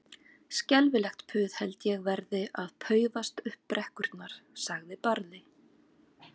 Skelfilegt puð held ég verði að paufast upp brekkurnar, sagði Barði.